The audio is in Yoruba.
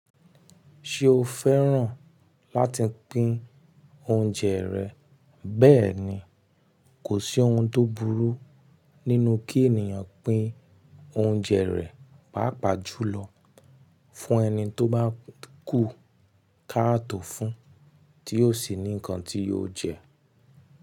Ṣé o fẹ́ràn láti pín oúnjẹ rẹ bẹ́ẹ̀ni, kò sí ohun tó burú nínú kí ènìyàn pín oúnjẹ rẹ̀, pàápàá jùlọ fún ẹni tó bá kú káàtò fún, tí yóò sì ní ǹkan tí yóò jẹ.